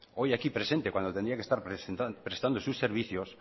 hoy aquí presente cuando tendría que estar prestando sus servicios